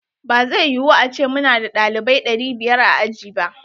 Ba zai yu ace muna da ɗalibaui ɗari biyar a aji ba.